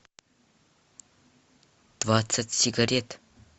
двадцать сигарет